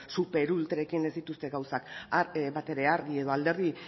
superultrekin ez dituzte gauzak batere argi edo alderdi